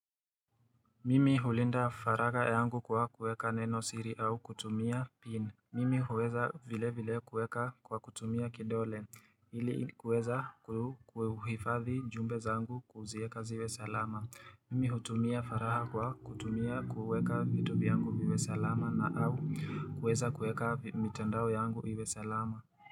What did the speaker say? Mimi hulinda faragha yangu kwa kueka neno siri au kutumia pin. Mimi huweza vile vile kueka kwa kutumia kidole. Ili huweza kuhifadhi jumbe zangu kuzieka ziwe salama. Mimi hutumia faragha kwa kutumia kueka vitu vyangu viwe salama na au kueza kueka mitandao yangu iwe salama.